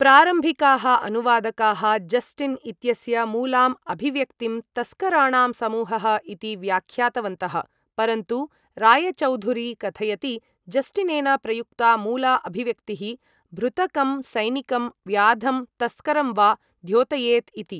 प्रारम्भिकाः अनुवादकाः जस्टिन् इत्यस्य मूलाम् अभिव्यक्तिं तस्कराणां समूहः इति व्याख्यातवन्तः, परन्तु रायचौधुरी कथयति, जस्टिनेन प्रयुक्ता मूला अभिव्यक्तिः भृतकं सैनिकं, व्याधं, तस्करं वा द्योतयेत् इति।